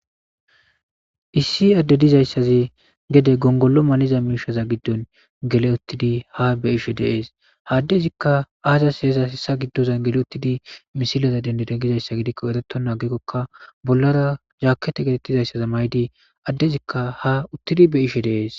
issi adde dizayssaze gede gongollo maniza miishaza giddon gele uttidi ha beishe deees haaddezikka aazas heeza hessa giddozan gele uttidi misilaza dendede gizayssa gidikko ereto naagekkokka bollara zaakete getettizayssaza maydi addezikka ha uttidi be ishe deees